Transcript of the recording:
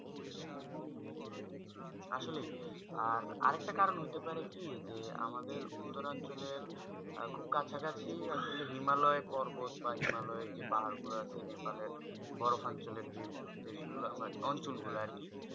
আসলে আর একটা কারণ হতে পারে কি আমাদের উত্তর অঞ্চলে খুব কাছ কাছি হিমালয় পর্বত বা হিমালয় পাহাড় গুলু আছে নেপালের বোরো সঞ্চলে জীপ্ ওমছুল গুলু আর কি